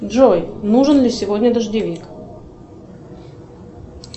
джой нужен ли сегодня дождевик